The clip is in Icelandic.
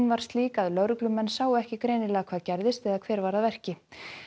var slík að lögreglumenn sáu ekki greinilega hvað gerðist eða hver var að verki